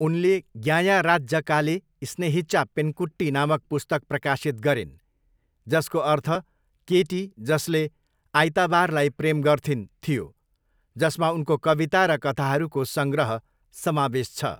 उनले ज्ञायाराच्जकाले स्नेहिचा पेन्कुट्टी नामक पुस्तक प्रकाशित गरिन्, जसको अर्थ 'केटी जसले आइताबारलाई प्रेम गर्थिन्' थियो, जसमा उनको कविता र कथाहरूको सङ्ग्रह समावेश छ।